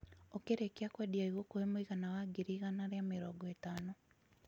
ũkirikia kwendia igũkũhe mw̃igana wa ngiri igana ria mĩrongo itano